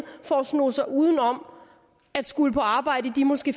for at sno sig uden om at skulle på arbejde i de måske